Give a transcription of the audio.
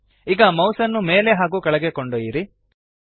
ltಪಿಜಿಟಿ ಈಗ ಮೌಸ್ ಅನ್ನು ಮೇಲೆ ಹಾಗೂ ಕೆಳಗೆ ಕೊಂಡೊಯ್ಯಿರಿ